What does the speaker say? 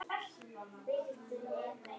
Myndum við borga slík laun?